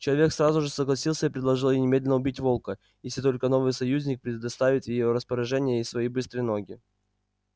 человек сразу же согласился и предложил ей немедленно убить волка если только новый союзник предоставит в её распоряжение свои быстрые ноги